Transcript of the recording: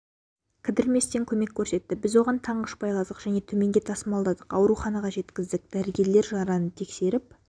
кідірместен көмек көрсетті біз оған таңғыш байладық және төменге тасымалдадық ауруханаға жеткіздік дәрігерлер жараны тексеріп